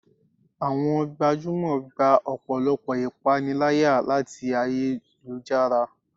awọn gbajúmò gbá ọpọlọpọ ​​ipanilaya tí ayélujará